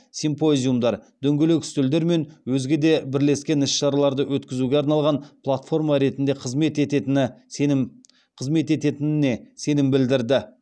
симпозиумдар дөңгелек үстелдер мен өзге де бірлескен іс шараларды өткзуге арналған платформа ретінде қызмет ететініне сенім білдірді